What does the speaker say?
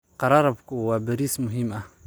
Qararabhu waa bariis muhiim ah.